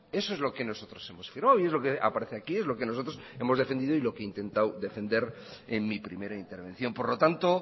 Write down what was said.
eso es lo que nosotros hemos firmado y es lo que aparece aquí es lo que nosotros hemos defendido y lo que he intentado defender en mi primera intervención por lo tanto